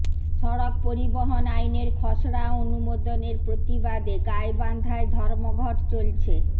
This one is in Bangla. সড়ক পরিবহন আইনের খসড়া অনুমোদনের প্রতিবাদে গাইবান্ধায় ধর্মঘট চলছে